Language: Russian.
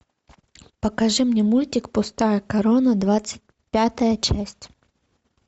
покажи мне мультик пустая корона двадцать пятая часть